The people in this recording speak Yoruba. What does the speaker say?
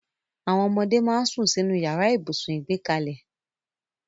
Àwọn ọmọdé máa ń sún sínú yàrá ibùsùn ìgbẹ́kalẹ̀